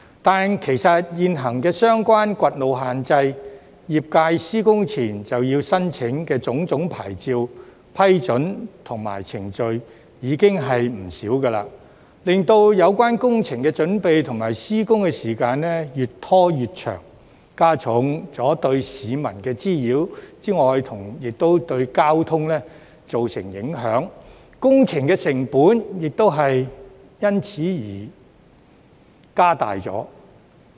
但是，其實現行相關掘路限制、業界施工前要申請的種種牌照、批准和程序已經不少，令有關工程的準備及施工時間越拖越長，加重對市民的滋擾，也對交通造成影響，工程成本亦因而增加。